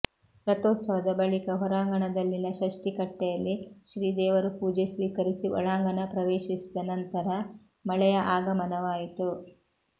ರಥೋತ್ಸವದ ಬಳಿಕ ಹೊರಾಂಗಣದಲ್ಲಿನ ಷಷ್ಠಿ ಕಟ್ಟೆಯಲ್ಲಿ ಶ್ರೀ ದೇವರು ಪೂಜೆ ಸ್ವೀಕರಿಸಿ ಒಳಾಂಗಣ ಪ್ರವೇಶಿಸಿದ ನಂತರ ಮಳೆಯ ಆಗಮನವಾಯಿತು